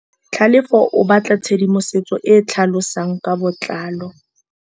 Tlhalefô o batla tshedimosetsô e e tlhalosang ka botlalô.